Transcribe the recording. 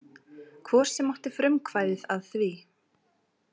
Hvor sem átti frumkvæði að því.